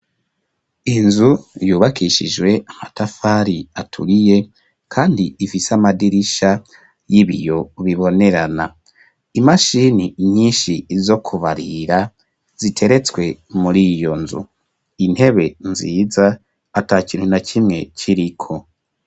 Inzu yubakishijwe amatafari aturiye kandi ifise amadirisha y'ibiyo bibonerana imashini nyinshi zo kubarira ziteretswe muri iyo nzu intebe nziza ata kintu na kimwe kiriko.